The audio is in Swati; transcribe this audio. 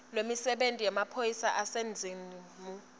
lwemisebenti yemaphoyisa aseningizimu